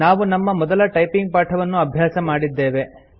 ನಾವು ನಮ್ಮ ಮೊದಲ ಟೈಪಿಂಗ್ ಪಾಠವನ್ನು ಅಭ್ಯಾಸ ಮಾಡಿದ್ದೇವೆ